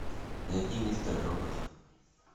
найди мистер робот